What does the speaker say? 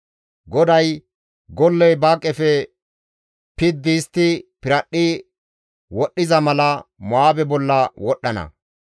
GODAY, «Golley ba qefe piddi histti piradhdhi wodhdhiza mala, Mo7aabe bolla wodhdhana.